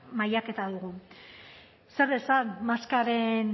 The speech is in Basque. mailaketa dugu zer esan maskaren